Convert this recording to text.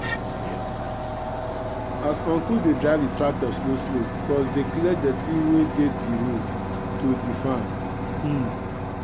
as uncu dey drive di tractor slow slow cuz dey clear dirty wey dey di road to di farm. um